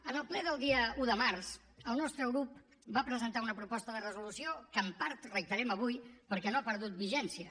en el ple del dia un de març el nostre grup va presentar una proposta de resolució que en part reiterem avui perquè no ha perdut vigència